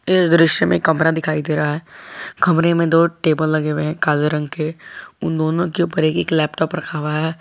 ये दृश्य में कमरा दिखाई दे रहा है कमरे में दो टेबल लगे हुए हैं काले रंग के उन दोनों के ऊपर एक एक लैपटॉप रखा हुआ है।